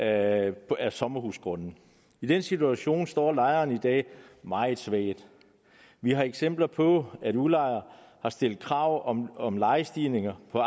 af sommerhusgrunde i den situation står lejeren i dag meget svagt vi har eksempler på at udlejer har stillet krav om om lejestigninger på